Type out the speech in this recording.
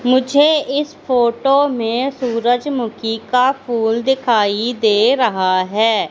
मुझे इस फोटो में सूरजमुखी का फूल दिखाई दे रहा है।